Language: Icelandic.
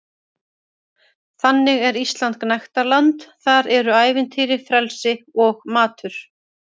Þannig er Ísland gnægtaland- þar eru ævintýri, frelsi og matur.